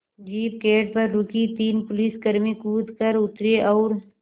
jeep gate पर रुकी तीन पुलिसकर्मी कूद कर उतरे और